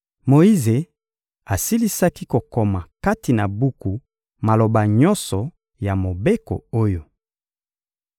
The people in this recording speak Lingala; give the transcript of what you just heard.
Moyize asilisaki kokoma kati na buku maloba nyonso ya mobeko oyo.